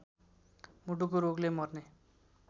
मुटुको रोगले मर्ने